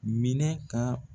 Minɛ ka